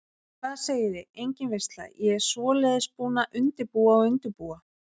Hvað segiði, engin veisla, ég svoleiðis búin að undirbúa og undirbúa.